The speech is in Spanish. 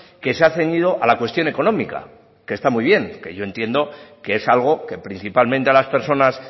que se ha ceñido a la cuestión económica que está muy bien que yo entiendo que es algo que principalmente a las personas